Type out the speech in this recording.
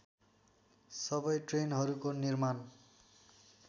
सबै ट्रेनहरूको निर्माण